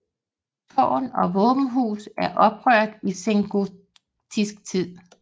Tårn og våbenhus er opført i sengotisk tid